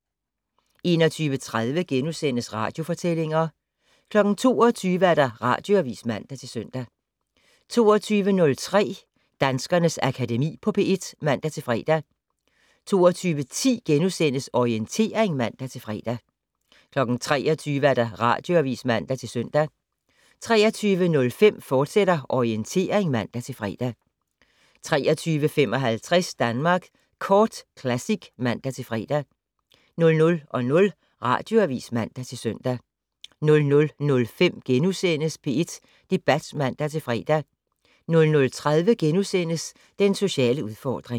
21:30: Radiofortællinger * 22:00: Radioavis (man-søn) 22:03: Danskernes Akademi på P1 (man-fre) 22:10: Orientering *(man-fre) 23:00: Radioavis (man-søn) 23:05: Orientering, fortsat (man-fre) 23:55: Danmark Kort Classic (man-fre) 00:00: Radioavis (man-søn) 00:05: P1 Debat *(man-fre) 00:30: Den sociale udfordring *